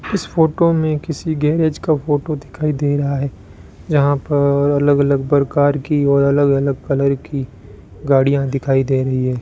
इस फोटो में किसी गैरेज का फोटो दिखाई दे रहा है जहां पर अलग अलग प्रकार की और अलग अलग कलर की गाड़ियां दिखाई दे रही है।